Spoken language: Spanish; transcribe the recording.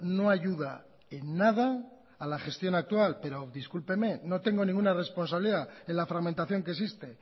no ayuda en nada a la gestión actual pero discúlpeme no tengo ninguna responsabilidad en la fragmentación que existe